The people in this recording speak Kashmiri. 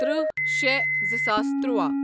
تٕرٛہ شےٚ زٕساس تُرٛواہ